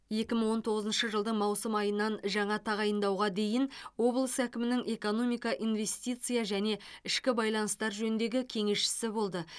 екі мың он тоғызыншы жылдың маусым айынан жаңа тағайындауға дейін облыс әкімінің экономика инвестиция және ішкі байланыстар жөніндегі кеңесшісі болды